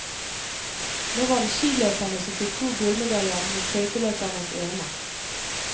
Nå var det skiløperne som fikk to gullmedaljer mot skøyteløpernes ene.